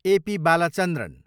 A. P. Balachandran